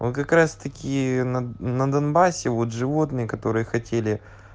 он как раз таки на на донбассе вот животные которые хотели